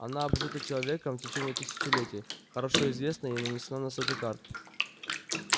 она обжита человеком в течение тысячелетий хорошо известна и нанесена на сотни карт